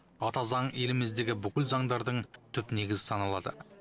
ата заң еліміздегі бүкіл заңдардың түп негізі саналады